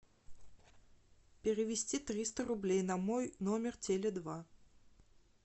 перевести триста рублей на мой номер теле два